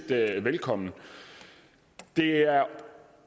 velkommen det er